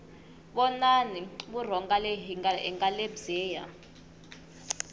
vonani vurhonga hi lebyiya